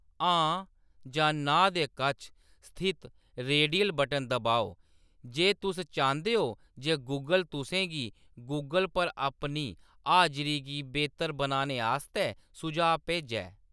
हां' जां 'नां' दे कच्छ स्थित रेडियल बटन दबाओ जे तुस चांह्‌‌‌दे हो जे गूगल तुसें गी गूगल पर अपनी हाजरी गी बेह्तर बनाने आस्तै सुझाऽ भेजै।